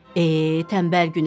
Ey, tənbəl Günəş.